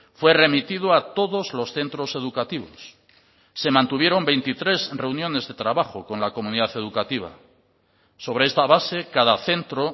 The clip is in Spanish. fue remitido a todos los centros educativos se mantuvieron veintitrés reuniones de trabajo con la comunidad educativa sobre esta base cada centro